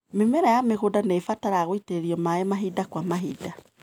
Mĩmera ya mũgũnda nĩibataraga gũitĩrĩrio maĩ mahinda kwa mahinda.